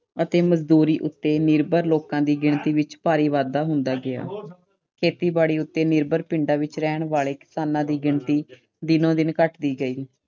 ਅਤੇ ਮਜ਼ਦੂਰੀ ਉਤੇ ਨਿਰਭਰ ਲੋਕਾਂ ਦੀ ਗਿਣਤੀ ਵਿੱਚ ਭਾਰੀ ਵਾਧਾ ਹੁੰਦਾ ਗਿਆ। ਖੇਤੀਬਾੜੀ ਉੱਤੇ ਨਿਰਭਰ ਪਿੰਡਾਂ ਵਿੱਚ ਰਹਿਣ ਵਾਲੇ ਕਿਸਾਨਾਂ ਦੀ ਗਿਣਤੀ ਦਿਨੋ-ਦਿਨ ਘਟਦੀ ਗਈ।